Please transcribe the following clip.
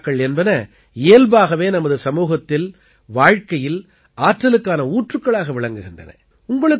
திருவிழாக்கள் என்பன இயல்பாகவே நமது சமூகத்தில் வாழ்க்கையில் ஆற்றலுக்கான ஊற்றுக்களாக விளங்குகின்றன